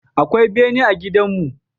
Akwai bene a gidanmu.